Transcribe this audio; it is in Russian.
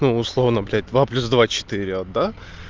ну условно блядь два плюс два четыре вот да